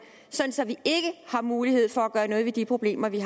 så vi har mulighed for at gøre noget ved de problemer vi